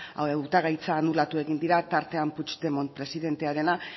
hautagaitza anulatu egin dira tartean puigdemont presidentearena